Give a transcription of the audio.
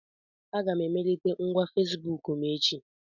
Aga m emelite ngwa Fesibuku m echi.